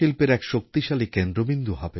বিশ্ববাণিজ্য এখন ভারতের দিকেই তাকিয়ে আছে